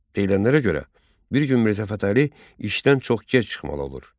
Edilənlərə görə, bir gün Mirzə Fətəli işdən çox gec çıxmalı olur.